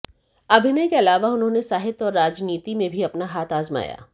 अभिनय के अलावा उन्होंने साहित्य और राजनीति में भी अपना हाथ आजमाया